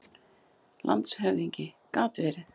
LANDSHÖFÐINGI: Gat verið.